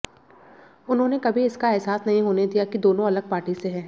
उन्होंने कभी इसका अहसास नहीं होने दिया कि दोनों अलग पार्टी से हैं